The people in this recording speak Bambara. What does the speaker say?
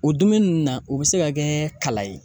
O dumuni nunnu na, o be se ka kɛ kala ye